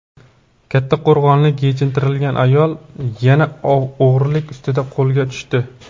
Kattaqo‘rg‘onlik "yechintirilgan ayol" yana o‘g‘rilik ustida qo‘lga tushdi.